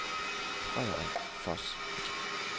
Frederik Voss